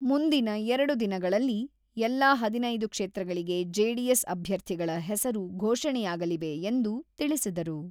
ಮುಂದಿನ ಎರಡು ದಿನಗಳಲ್ಲಿ ಎಲ್ಲ ಹದಿನೈದು ಕ್ಷೇತ್ರಗಳಿಗೆ ಜೆಡಿಎಸ್ ಅಭ್ಯರ್ಥಿಗಳ ಹೆಸರು ಘೋಷಣೆಯಾಗಲಿವೆ ಎಂದು ತಿಳಿಸಿದರು.